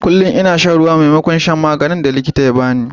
Kullum ina shan ruwa maimakon shan magungunan da likitan ya ba ni.